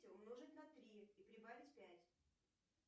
умножить на три и прибавить пять